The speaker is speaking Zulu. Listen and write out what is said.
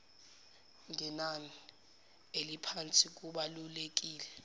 ngenani eliphansi kubalulekile